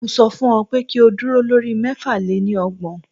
Mo sọ fún ọ pé kí o dúró lórí mẹ́fà lé ní ọgbọ̀n.